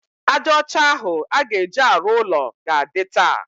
Ájá ọcha ahụ a ga-eji arụ ụlọ ga-adị taa.